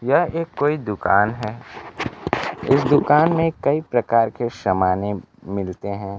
यह एक कोई दुकान है इस दुकान में कई प्रकार के समाने मिलते हैं।